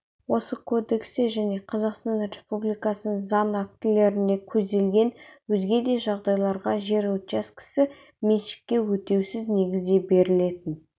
осы кодексте және қазақстан республикасының заң актілерінде көзделген өзге де жағдайларда жер учаскесі меншікке өтеусіз негізде берілетін